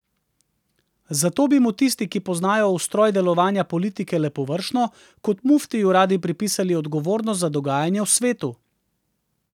Zato bi mu tisti, ki poznajo ustroj delovanja politike le površno, kot muftiju radi pripisali odgovornost za dogajanje v svetu.